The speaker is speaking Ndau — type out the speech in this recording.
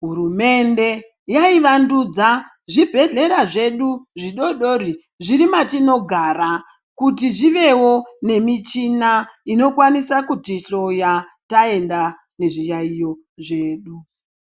hurumende yaivandudza zvibhehlera zvedu zvidodori zviri matinogara kuti zviwevo nemichina inokwanisa kutihloya taenda nezviyaiyo zvedu.